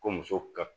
Ko muso ka